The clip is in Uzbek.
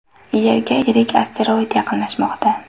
Yerga yirik asteroid yaqinlashmoqda.